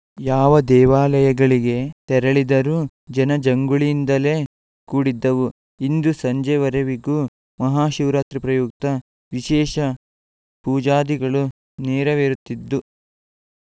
ಯಾವ ದೇವಾಲಯಗಳಿಗೆ ತೆರಳಿದರೂ ಜನಜಂಗುಳಿಯಿಂದಲೇ ಕೂಡಿದ್ದವು ಇಂದು ಸಂಜೆವರೆವಿಗೂ ಮಹಾಶಿವರಾತ್ರಿ ಪ್ರಯುಕ್ತ ವಿಶೇಷ ಪೂಜಾದಿಗಳು ನೆರವೇರುತ್ತಿದ್ದು